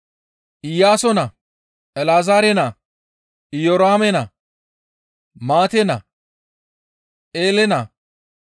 Iyaaso naa, El7ezeere naa, Iyoraame naa, Maate naa, Eele naa,